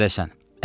Məşədəsən.